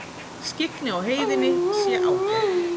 Skyggni á heiðinni sé ágætt